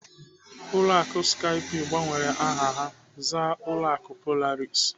Ụlọ akụ Skype gbanwere aha ha zaa ụlọ akụ Polaris.